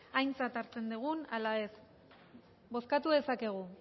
aintzat hartzen dugun ala ez bozkatu dezakegu